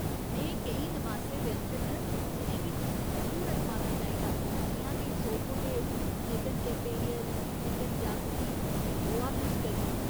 नेहे केईं नमासे व्यंजन न जि'नेंगी तुसें जरूर अजमाना चाहिदा जि'यां के सोरपोटेल, चिकन कैफेरियल, चिकन जाकुटी ते गोवा फिश करी।